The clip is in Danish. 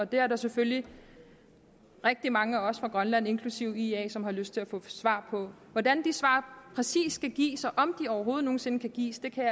det er der selvfølgelig rigtig mange af os fra grønland inklusive ia som har lyst til at få svar på hvordan de svar præcist skal gives og om de overhovedet nogen sinde kan gives kan jeg